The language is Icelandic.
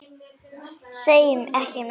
Segi ekki meir.